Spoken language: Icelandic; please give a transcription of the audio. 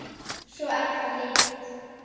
Svo er það hitt.